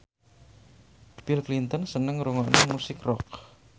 Bill Clinton seneng ngrungokne musik rock